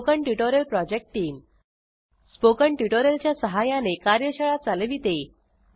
spoken tutorial project team spoken tutorial च्या सहाय्याने कार्यशाळा चालविते